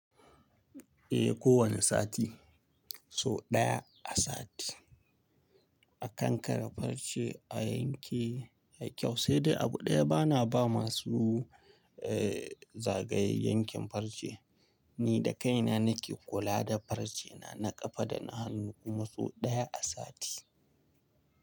Eh, kowane sati, so ɗaya a sati. A kankare farce a yanke a kyau, sai dai abu ɗaya bana ba masu, eh zagaye yankin farce. Ni da kaina nake kula da farce na, na kafa da na hannu kuma so ɗaya a sati.